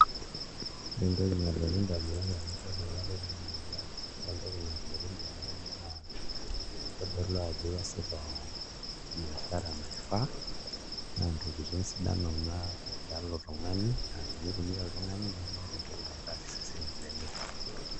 Ore entoki nalotu ndamunot tenadol ena toki naa, ore entoki nalotu n damunot naa kitodolu ajo iasita biashara naifaa naa ntokitin sidan nena tialo oltung'ani aa tenitumia oltung'ani nemeeta entoki naitaas iseseni lenye.